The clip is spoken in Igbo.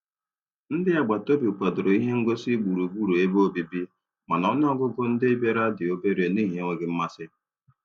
Ndị agbataobi kwadoro ihe ngosị gburugburu ebe obibi, mana ọnụọgụgụ ndị bịara dị obere n'ihi enweghị mmasị